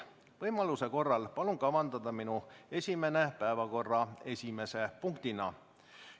Võimaluse korral palun kavandada minu esinemine päevakorra esimese punktina.